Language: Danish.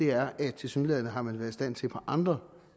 er at tilsyneladende har man været i stand til på andre